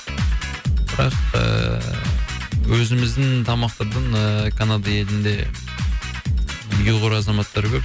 бірақ ыыы өзіміздің тамақтардан ыыы канада елінде ұйғыр азаматары көп